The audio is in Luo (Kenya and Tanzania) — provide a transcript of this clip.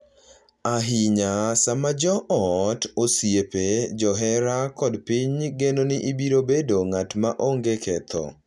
ahinya sama jo ot, osiepe, johera kod piny geno ni ibiro bedo ng’at ma ongee ketho